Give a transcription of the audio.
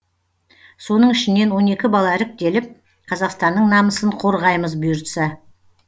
соның ішінен он екі бала іріктеліп қазақстанның намысын қорғаймыз бұйыртса